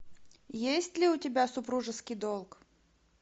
есть ли у тебя супружеский долг